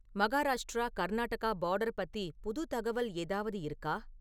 Maharashtra Karnataka border பத்தி புது தகவல் ஏதாவது இருக்கா?